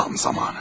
Tam zamanı.